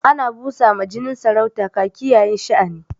Ana busa ma jinin saurata kaki yayin sha'ani.